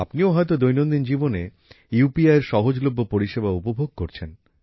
আপনিও হয়তো দৈনন্দিন জীবনে ইউপিআইএর সহজলভ্য পরিষেবা উপভোগ করছেন